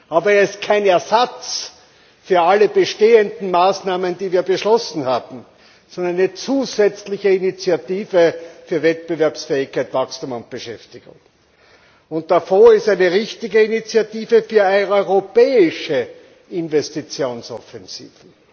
Aber er ist kein Ersatz für alle bestehenden Maßnahmen, die wir beschlossen hatten, sondern eine zusätzliche Initiative für Wettbewerbsfähigkeit, Wachstum und Beschäftigung. Der Fonds ist eine richtige Initiative für eine Europäische Investitionsoffensive.